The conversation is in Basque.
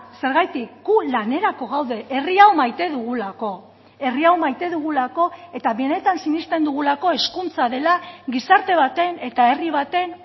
zergatik gu lanerako gaude herri hau maite dugulako herri hau maite dugulako eta benetan sinesten dugulako hezkuntza dela gizarte baten eta herri baten